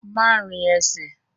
Má rin ẹsẹ̀!